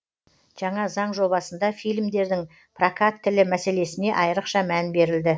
жаңа заң жобасында фильмдердің прокат тілі мәселесіне айрықша мән берілді